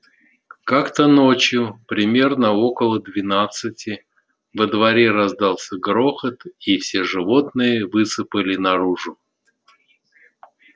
как-то ночью примерно около двенадцати во дворе раздался грохот и все животные высыпали наружу